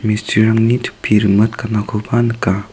mistrirangni topi rimit ganakoba nika.